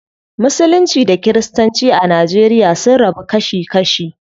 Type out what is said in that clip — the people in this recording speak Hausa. Musulunci da kiristanci a nigeria sun rabu kashi kashi.